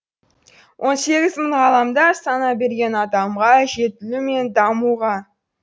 он сегіз мың ғаламда сана берген адамға жетілу мен дамуға